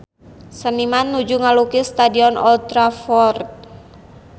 Seniman nuju ngalukis Stadion Old Trafford